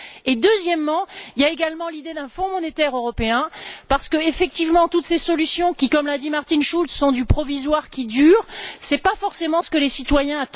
Et deuxièmement, il y a également l'idée d'un Fonds monétaire européen, parce qu'effectivement toutes ces solutions qui, comme l'a dit Martin Schulz, sont du provisoire qui dure, ce n'est pas forcément ce qu'attendent les citoyens.